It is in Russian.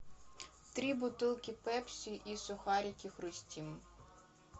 три бутылки пепси и сухарики хрустим